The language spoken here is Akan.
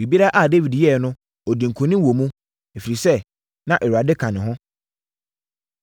Biribiara a Dawid yɛeɛ no, ɔdii nkonim wɔ mu, ɛfiri sɛ, na Awurade ka ne ho.